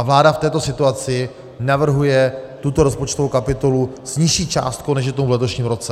A vláda v této situaci navrhuje tuto rozpočtovou kapitolu s nižší částkou, než je tomu v letošním roce.